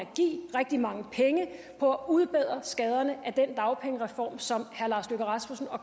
rigtig mange penge på at udbedre skaderne af den dagpengereform som herre lars løkke rasmussen og